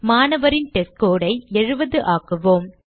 மாணவரின் testScore ஐ 70 ஆக்குவோம்